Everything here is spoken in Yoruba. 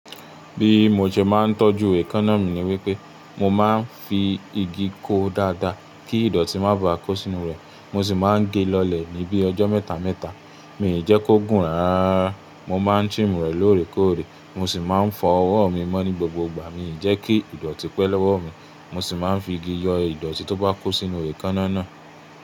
Bí mo ṣe máa ń tọ́jú èékánná mi ni wípé mo máa ń fi igi kó ó dáadáa kí ìdọ̀tí má ba à kó sínú rẹ̀. Mo sì máa ń gé e lọ́lẹ̀ ní bíi ọjọ́ mẹ́ta mẹ́ta. Mii ki jẹ́ kó gùn rárá. Mo máa ń trim rẹ̀ lóòrèkóòrè. Mo sì máa ń fọ ọwọ́ mi mọ́ ní gbogbo ìgbà. Mii jẹ́ kí ìdọ̀tí pẹ́ lẹ́wọ̀ mi. Mo sì máa ń fi igi yọ ìdọ̀tí tó bá kó sínú èékánná náà.